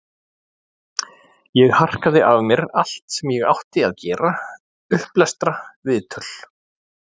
Ég harkaði af mér allt sem ég átti að gera, upplestra, viðtöl.